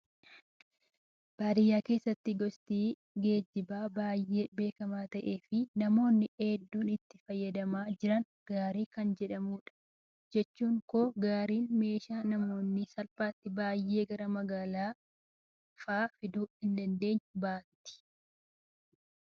Baadiyyaa keessatti gosti geejjibaa baay'ee beekamaa ta'ee fi namoonni hedduu itti fayyadamaa jiran gaarii kan jedhamudha. Jechuun koo gaariin meeshaalee namni salphaatti baay'ee gara magaalaa fa'aa fiduu hin dandeenye baatti.